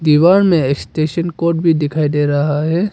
दीवार में station code भी दिखाई दे रहा है।